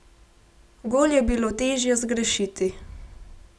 Gol je bilo težje zgrešiti!